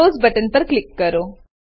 close button પર click કરો